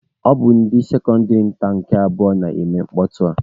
Ọ bụ ndị sekọndịrị nta nke abụọ na-eme mkpọtụ a.